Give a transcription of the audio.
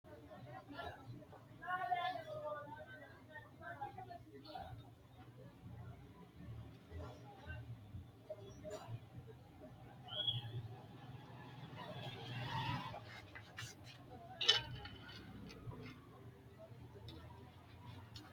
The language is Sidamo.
Shiima kaameela oofanni noohu oofaanchu giddo odolle nooha ikkanna kaameelu badheenni noo baaychi muuze kiilote bikkine hirranni baseeti qoleno wole laalonna gummano.